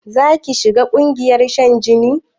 Zaki shiga ƙungiyar shan jini?